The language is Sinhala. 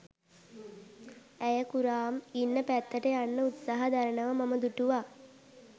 ඇය කුරාම් ඉන්න පැත්තට යන්න උත්සාහ දරනවා මම දුටුවා.